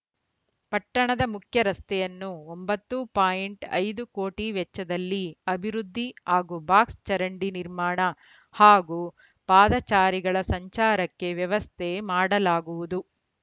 ಪಟ್ಟಣದ ಮುಖ್ಯ ರಸ್ತೆಯನ್ನು ಒಂಬತ್ತು ಐದು ಕೋಟಿ ವೆಚ್ಚದಲ್ಲಿ ಅಭಿವೃದ್ಧಿ ಹಾಗೂ ಬಾಕ್ಸ್‌ ಚರಂಡಿ ನಿರ್ಮಾಣ ಹಾಗೂ ಪಾದಾಚಾರಿಗಳ ಸಂಚಾರಕ್ಕೆ ವ್ಯವಸ್ಥೆ ಮಾಡಲಾಗುವುದು